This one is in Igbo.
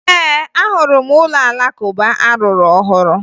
Ee, ahụrụ m ụlọ Alakụba a rụrụ ọhụrụ